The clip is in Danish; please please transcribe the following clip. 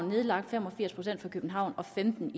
nedlagt fem og firs procent i københavn og femten